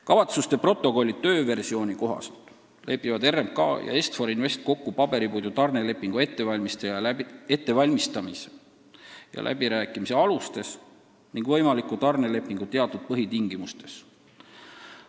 " Kavatsuste protokolli tööversiooni kohaselt lepivad RMK ja Est-For Invest kokku paberipuidu tarnelepingu ettevalmistamise ja läbirääkimise alustes ning võimaliku tarnelepingu teatud põhitingimustes.